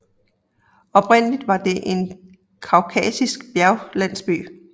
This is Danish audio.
Oprindeligt var den en kaukasisk bjerglandsby